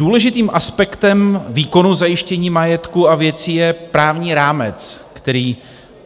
Důležitým aspektem výkonu zajištění majetku a věcí je právní rámec, který